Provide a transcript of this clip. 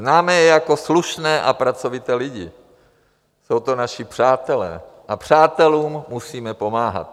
Známe je jako slušné a pracovité lidi, jsou to naši přátelé a přátelům musíme pomáhat.